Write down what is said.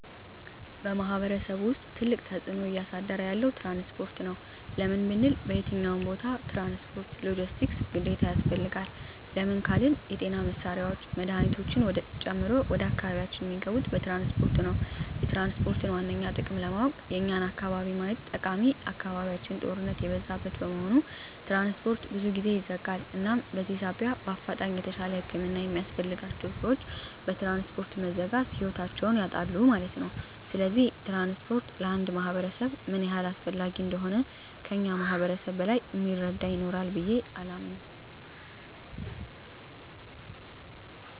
በማሕበረሰቡ ውስጥ ትልቅ ተፅዕኖ እያሳደረ ያለዉ ትራንስፖርት ነዉ። ለምን ብንል በየትኛዉም ቦታ ትራንስፖርት(ሎጀስቲክስ) ግዴታ ያስፈልጋል። ለምን ካልን የጤና መሳሪያወች መድሀኒቶችን ጨምሮ ወደ አካባቢያችን እሚገቡት በትራንስፖርት ነዉ። የትራንስፖርትን ዋነኛ ጥቅም ለማወቅ የኛን አካባቢ ማየት ጠቃሚ አካባቢያችን ጦርነት የበዛበት በመሆኑ ትራንስፖርት ብዙ ጊዜ ይዘጋል እናም በዚህ ሳቢያ በአፋጣኝ የተሻለ ህክምና የሚያስፈልጋቸዉ ሰወች በትራንስፖርት መዘጋት ህይወታቸዉን ያጣሉ ማለት ነዉ። ስለዚህ ትራንስፖርት ለአንድ ማህበረሰብ ምን ያህል አስፈላጊ እንደሆነ ከእኛ ማህበረሰብ በላይ እሚረዳ ይኖራል ብየ አላምንም።